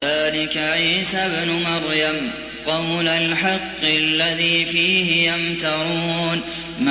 ذَٰلِكَ عِيسَى ابْنُ مَرْيَمَ ۚ قَوْلَ الْحَقِّ الَّذِي فِيهِ يَمْتَرُونَ